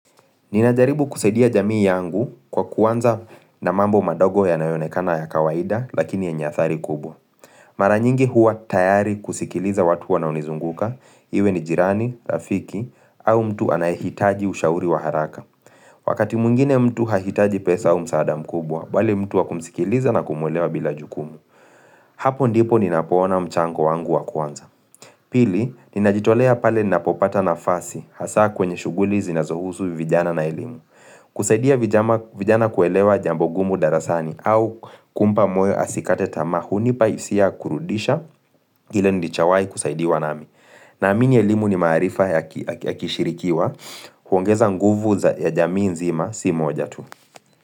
Ninajaribu kusaidia jamii yangu kwa kuanza na mambo madogo yanayoonekana ya kawaida lakini yenye athari kubwa. Mara nyingi huwa tayari kusikiliza watu wanaonizunguka, iwe ni jirani, rafiki, au mtu anayehitaji ushauri wa haraka. Wakati mwingine mtu hahitaji pesa au msaada mkubwa, bali mtu wa kumsikiliza na kumulewa bila jukumu. Hapo ndipo ninapoona mchango wangu wa kuwanza. Pili, ninajitolea pale ninapopata nafasi hasa kwenye shuguli zinazohusu vijana na elimu. Kusaidia vijana kuelewa jambo gumu darasani au kumpa moyo asikate tamaa hunipa hisia kurudisha ile nilichawai kusaidiwa nami. Naamini elimu ni marifa ya kishirikiwa huongeza nguvu za ya jamii nzima si moja tu.